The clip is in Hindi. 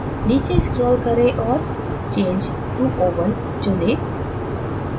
नीचे scroll करें और change to oval चुनें